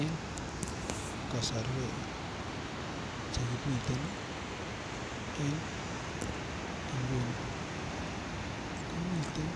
Eng kosorwek che kimiten en nguni komiten